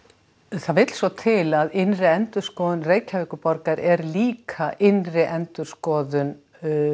það vill svo til að innri endurskoðun Reykjavíkurborgar er líka innri endurskoðun